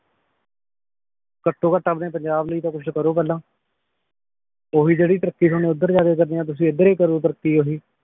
ਘੱਟੋਂ ਘੱਟ ਆਪਣੇ ਪੰਜਾਬ ਲਈ ਤਾਂ ਕੁਛ ਕਰੋ ਪਹਿਲਾਂ ਓਹੀ ਜਿਹੜੀ ਤਰੱਕੀ ਤੁਸੀ ਓਧਰ ਜਾ ਕੇ ਰਕਣੀ ਆ ਤੁਸੀਂ ਏਧਰ ਈ ਕਰੋ ਤਰੱਕੀ ਓਹੀ